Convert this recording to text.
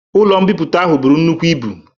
Ụlo mbipụta ahụ bụrụ nnukwụ ịbu